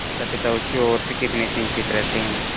मातापिता उसकी ओर से कितने चिंतित रहते हैं